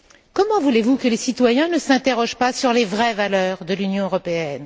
Comment voulez vous que les citoyens ne s'interrogent pas sur les vraies valeurs de l'Union européenne?